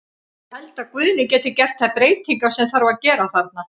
Ég held að Guðni geti gert þær breytingar sem þarf að gera þarna.